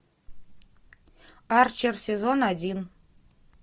арчер сезон один